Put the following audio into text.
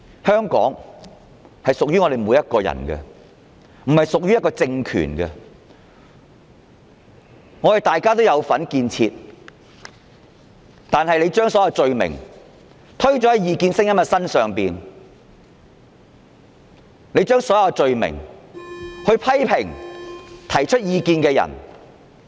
香港屬於每一位市民，而非屬於一個政權，大家也有參與建設，但政府要把所有罪名加諸異見者身上，批評及拘捕提出異見的人。